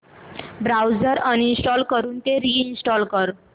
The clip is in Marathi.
ब्राऊझर अनइंस्टॉल करून रि इंस्टॉल कर